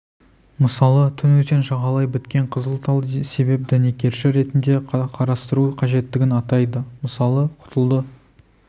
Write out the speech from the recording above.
мысалы түн өзен жағалай біткен қызыл тал себеп дәнекерші ретінде қарастыру қажеттігін атайды мысалы құтылды